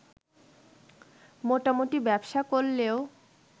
মোটামুটি ব্যবসা করলেও